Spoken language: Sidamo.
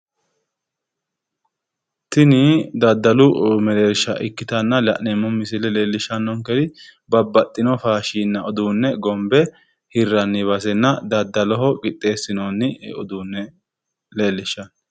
Tinni dadallu mereersha ikkitanna la'neemo misille leelishanonkeri babbaxino fashinna uduune gombe hiranni basenna dadalloho qixeesinonni uduune leelishano.